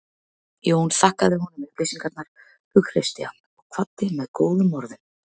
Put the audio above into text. Jón þakkaði honum upplýsingarnar, hughreysti hann og kvaddi með góðum orðum.